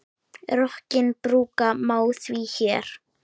Rokkinn brúka má því hér.